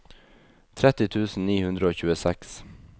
tretti tusen ni hundre og tjueseks